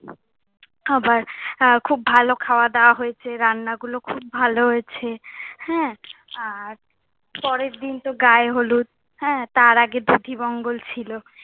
আবার খুব ভালো খাওয়া দাওয়া হয়েছে, রান্না গুলো খুব ভালো হয়েছে, হ্যাঁ। আর পরের দিন তো গায়ে হলুদ, তার আগে দধিমঙ্গল ছিলো।